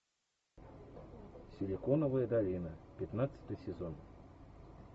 силиконовая долина пятнадцатый сезон